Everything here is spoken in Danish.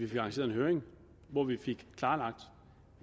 lanceret en høring hvor vi fik klarlagt